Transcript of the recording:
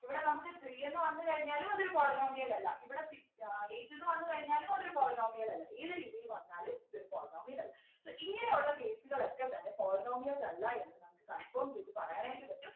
ഇവിടെ നമുക്ക് three എന്ന് വന്നു കഴിഞ്ഞാലും അതൊരു polynomial അല്ല ഇവിടെ six ഏർ eight എന്ന് വന്നു കഴിഞ്ഞാലും അതൊരു polynomial അല്ല ഏത് രീതിയിൽ പറഞ്ഞാലും ഇതൊരു polynomial അല്ല so ഇങ്ങനെയുള്ള case കളൊക്കെ തന്നെ polynomials അല്ല എന്ന് നമുക്ക് confirm ചെയ്തു പറയാനായിട്ട് പറ്റും